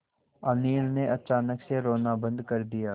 अनिल ने अचानक से रोना बंद कर दिया